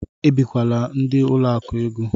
Ebikwala ndị ụlọ akụ égo!